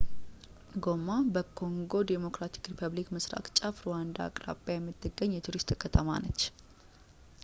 ጎማ በኮንጎ ዲሞክራቲክ ሪፐብሊክ ምስራቅ ጫፍ ሩዋንዳ አቅራቢያ የምትገኝ የቱሪስት ከተማ ናት